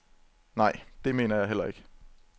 Nej, det mener jeg heller ikke.